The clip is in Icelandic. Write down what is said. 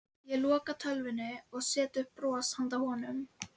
Ég loka tölvunni og set upp bros handa honum.